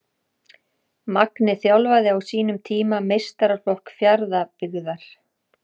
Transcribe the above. Magni þjálfaði á sínum tíma meistaraflokk Fjarðabyggðar.